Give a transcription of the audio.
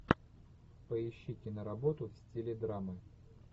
поищи киноработу в стиле драмы